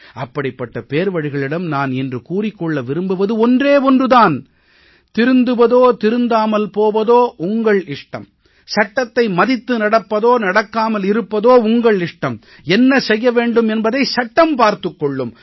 அப்படிப்பட்ட பேர்வழிகளிடம் நான் இன்று கூறிக் கொள்ள விரும்புவது ஒன்று தான் திருந்துவதோ திருந்தாமல் போவதோ உங்கள் இஷ்டம் சட்டத்தை மதித்து நடப்பதோ நடக்காமல் இருப்பதோ உங்கள் இஷ்டம் என்ன செய்ய வேண்டும் என்பதை சட்டம் பார்த்துக் கொள்ளும்